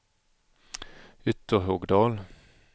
Ytterhogdal